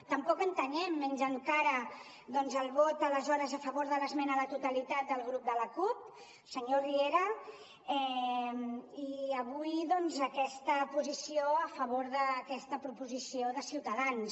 tampoc entenem menys encara el vot aleshores a favor de l’esmena a la totalitat del grup de la cup senyor riera i avui doncs aquesta posició a favor d’aquesta proposició de ciutadans